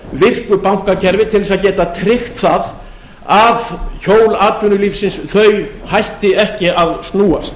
virku bankakerfi til þess að geta tryggt það að hjól atvinnulífsins hætti ekki að snúast